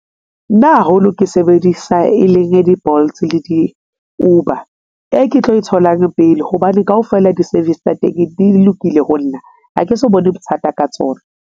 Nna haholo ke sebedisa e leng di-Bolt le di-Uber. E ke tlo e tholang pele hobane kaofela di-service tsa teng di lokile ho nna ha ke so bone bothata ka tsona.